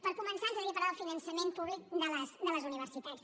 per començar ens agradaria parlar del finançament públic de les universitats